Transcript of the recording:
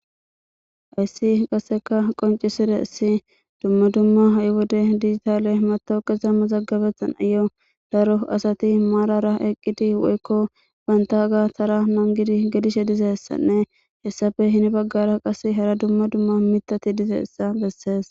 Haysi qasseka qonciside issi dumma dumma ha7i wode digitale matooke zamma zaggabethan ayo daro asati maarara eqqidi woykko banta ga tara nangidi gedishe dizessanne hessafe hini baggara qas hara dumma dumma mitati dizeissa bessees